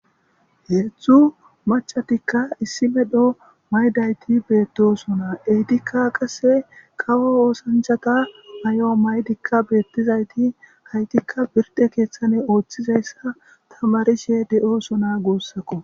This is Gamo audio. Heezu machatikka issimedho maydayti beettosona eytikka qase qawo oosanchata ayo maydikka beettizayti haytikka birde keeththane ooththizayssa tamarishe de'osona guussakko